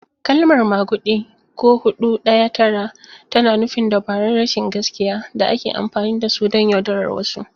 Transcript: Kalmar "maguɗi," ko "Hudu Daya Tara," tana nufin dabarun rashin gaskiya da ake amfani da su don yaudarar wasu.